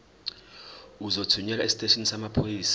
uzothunyelwa esiteshini samaphoyisa